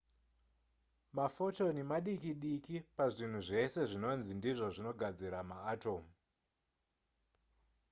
mafotoni madiki diki pazvinhu zvese zvinonzi ndizvo zvinogadzira maatomu